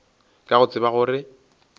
ka go tseba gore ke